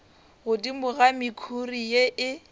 godimo ga mekhuri ye e